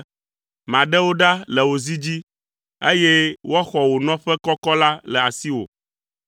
Maɖe wò ɖa le wò zi dzi, eye woaxɔ wò nɔƒe kɔkɔ la le asi wò.